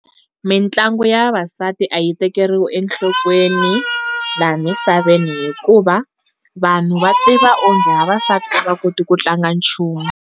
Mintlangu ya vavasati a yi tekeriwi enhlokweni laha misaveni, hikuva vanhu va tiva onge vavasati a va koti ku tlanga nchumu.